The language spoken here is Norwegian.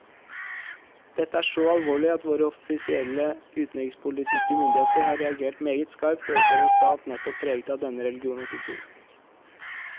Dette er så alvorlig at våre offisielle utenrikspolitiske myndigheter har reagert meget skarpt overfor en stat nettopp preget av denne religion og kultur.